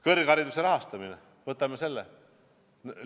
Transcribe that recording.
Kõrghariduse rahastamine – võtame selle.